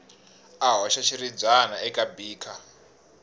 a hoxa xiribyana eka beaker